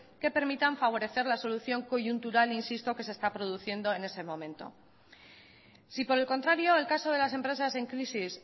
que permitan favorecer la solución coyuntural que se está produciendo en ese momento si por el contrario el caso de las empresas en crisis